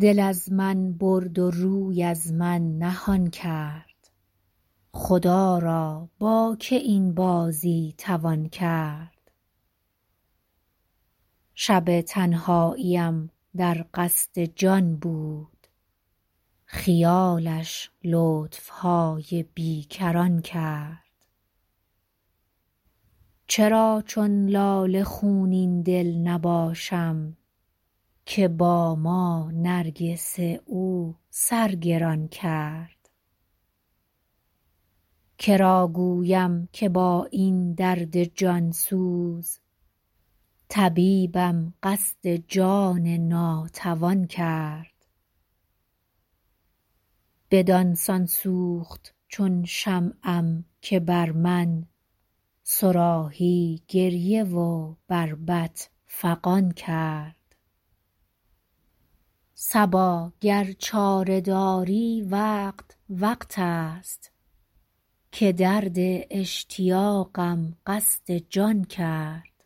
دل از من برد و روی از من نهان کرد خدا را با که این بازی توان کرد شب تنهاییم در قصد جان بود خیالش لطف های بی کران کرد چرا چون لاله خونین دل نباشم که با ما نرگس او سر گران کرد که را گویم که با این درد جان سوز طبیبم قصد جان ناتوان کرد بدان سان سوخت چون شمعم که بر من صراحی گریه و بربط فغان کرد صبا گر چاره داری وقت وقت است که درد اشتیاقم قصد جان کرد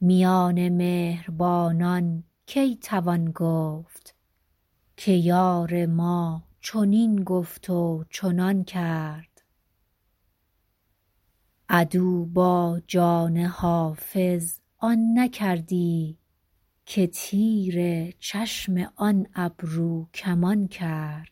میان مهربانان کی توان گفت که یار ما چنین گفت و چنان کرد عدو با جان حافظ آن نکردی که تیر چشم آن ابروکمان کرد